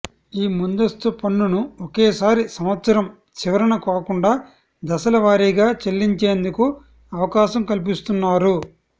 ఈ ముందస్తు పన్నును ఒకే సారి సంవత్సరం చివరన కాకుండా దశల వారీగా చెల్లించేందుకు అవకాశం కల్పిస్తున్నారు